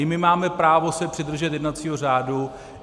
I my máme právo se přidržet jednacího řádu.